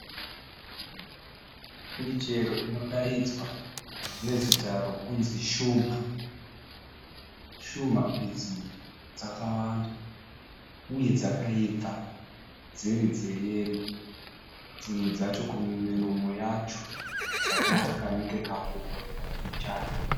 Michero inodaidzwa nezita rekunzi shumha, shumha idzi dzakwanda uye dzakaibva dziri dze yero, dzimwe dzacho kumuromo yadzo dzakaita kanenge kakuworera mbichana.